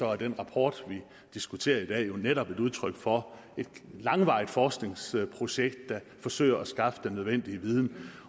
er den rapport vi diskuterer i dag jo netop et udtryk for et langvarigt forskningsprojekt der forsøger at skaffe den nødvendige viden